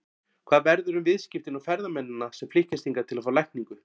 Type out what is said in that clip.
Hvað verður um viðskiptin og ferðamennina sem flykkjast hingað til að fá lækningu?